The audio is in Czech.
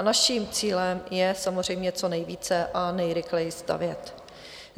A naším cílem je samozřejmě co nejvíce a nejrychleji stavět.